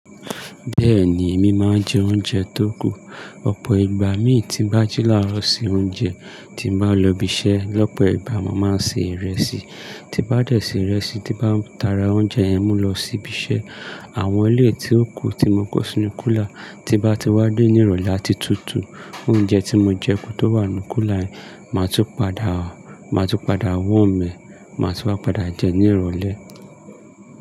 Bẹ́ẹ̀ni, èmi máa ń jẹ oúnjẹ tó kù. Ọ̀pọ̀ ìgbà mi tí bá jí làro se oúnjẹ, tí bá lọ ibi iṣẹ́, lọ́pọ̀ ìgbà mo máa ń se ìrẹsì. Ti bá dẹ̀ se ìrẹsì, tí bá ta ra oúnjẹ yẹn mú lọ sí ibi iṣẹ́. Àwọn ilé tí ó kù tí mo kó sínú kúlà, tí bá ti wádé ní ìrọ̀lẹ́ àti tútù, oúnjẹ tí mo jẹ kú tó wà nínú kúlà ẹ̀, màá tún padà, màá tún padà warm ẹ, màá tun wá padà jẹ ní ìrọ̀lẹ́.